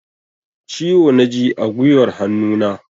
Ciwo na ji a guiwar hannunan.